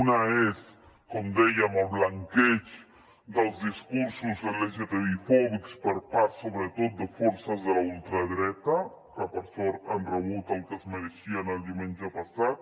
una és com dèiem el blanqueig dels discursos de lgtbi fòbics per part sobretot de forces de la ultradreta que per sort han rebut el que es mereixien el diumenge passat